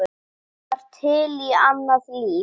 Það var til annað líf.